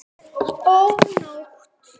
Ó, nótt!